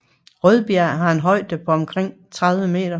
Rødbjerg har en højde på omtrent 30 m